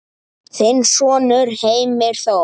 Þinn sonur Heimir Þór.